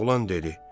Oğlan dedi: